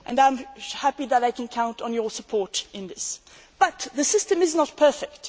it. I am happy that I can count on your support in this. However, the system is not perfect.